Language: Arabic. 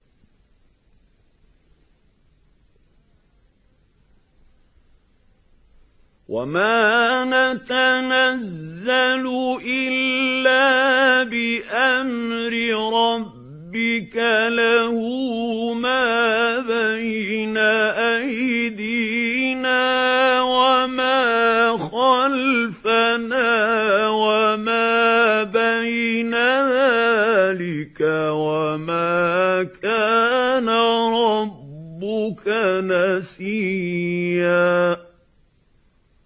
وَمَا نَتَنَزَّلُ إِلَّا بِأَمْرِ رَبِّكَ ۖ لَهُ مَا بَيْنَ أَيْدِينَا وَمَا خَلْفَنَا وَمَا بَيْنَ ذَٰلِكَ ۚ وَمَا كَانَ رَبُّكَ نَسِيًّا